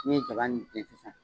Ne ye ja nin tigɛ sisan